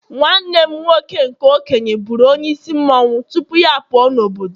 nwanne m nwoke nke okenye buru onye isi otu mmanwu tupu ya puo n' obodo